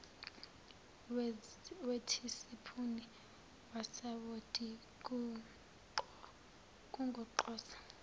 wethisipuni kasawoti kugoqoze